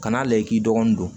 Kan'a lajɛ i k'i dɔgɔnin don